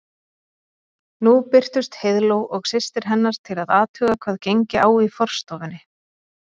Nú birtust Heiðló og systir hennar til að athuga hvað gengi á í forstofunni.